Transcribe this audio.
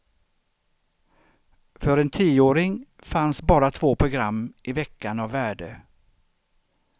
För en tioåring fanns bara två program i veckan av värde.